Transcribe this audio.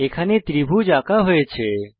এখানে ত্রিভুজ আঁকা হয়েছে